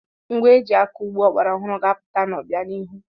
Ngwa eji akọ ugbo ọgbaraọhụrụ ga-apụta n'ọbianihu.